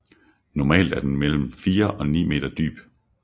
Normalt er den mellem 4 og 9 meter dyb